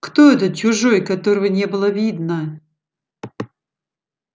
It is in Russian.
кто этот чужой которого не было видно